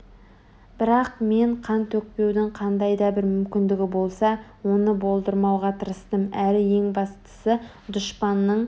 бірақ мен қан төкпеудің қандай да бір мүмкіндігі болса оны болдырмауға тырыстым әрі ең бастысы дұшпанның